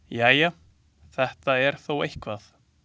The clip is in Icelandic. Jæja, þetta er þó eitthvað.